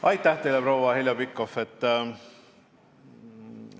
Aitäh teile, proua Heljo Pikhof!